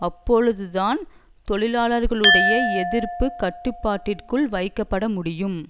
அப்பொழுதுதான் தொழிலாளர்களுடைய எதிர்ப்பு கட்டுப்பாட்டிற்குள் வைக்கப்பட முடியும்